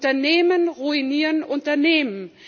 Unternehmen ruinieren Unternehmen.